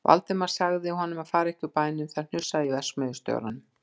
Valdimar sagði honum að fara ekki úr bænum, það hnussaði í verksmiðjustjóranum.